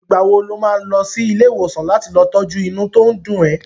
Ìgbà wo lo má lọ sí ilé ìwòsàn láti lọ tọ́jú inú tó ń dùn ẹ?